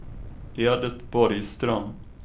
Edit Borgström